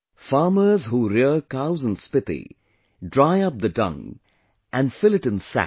Farmers who rear cows in Spiti, dry up the dung and fill it in sacks